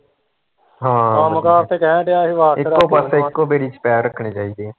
ਇੱਕੋ ਪਾਸੇ ਇੱਕੋ ਬੇੜੀ ਚ ਪੈਰ ਰੱਖਣੇ ਚਾਹੀਦੇ ਆ